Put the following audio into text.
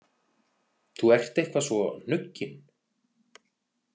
Þú ert eitthvað svo hnuggin